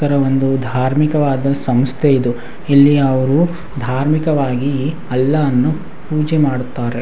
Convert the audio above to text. ಈ ತರ ಒಂದು ಧಾರ್ಮಿಕವಾದ ಸಂಸ್ಥೆ ಇದು ಇಲ್ಲಿ ಅವ್ರು ಧಾರ್ಮಿಕವಾಗಿ ಅಲ್ಲಾವನ್ನು ಪೂಜೆ ಮಾಡುತ್ತಾರೆ.